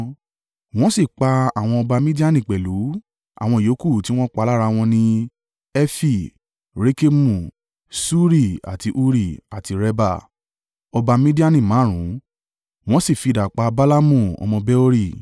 Wọ́n sì pa àwọn ọba Midiani pẹ̀lú: àwọn ìyókù tí wọ́n pa lára wọn ni Efi, Rekemu, Suri àti Huri, àti Reba: ọba Midiani márùn-ún, wọ́n sì fi idà pa Balaamu ọmọ Beori.